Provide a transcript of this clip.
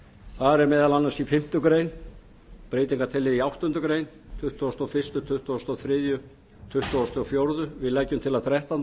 þar er meðal annars í fimmtu grein breytingartillaga í áttundu greinar tuttugasta og fyrstu tuttugasta og þriðja tuttugu og fjögur við leggjum til að þrettándu